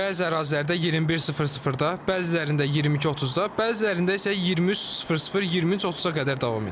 Bəzi ərazilərdə 21:00-da, bəzilərində 22:30-da, bəzilərində isə 23:00-23:30-a qədər davam edir.